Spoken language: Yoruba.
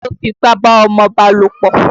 Ta ló fipá bá ọmọba lòpọ̀?